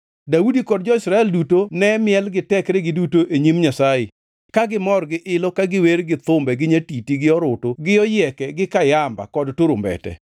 Daudi kod jo-Israel duto ne miel gi tekregi duto e nyim Nyasaye ka gimor gi-ilo ka giwer gi thumbe gi nyatiti gi orutu gi oyieke gi kayamba kod turumbete.